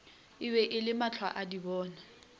e be e le mahlwaadibona